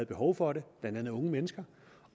behov for det blandt andet unge mennesker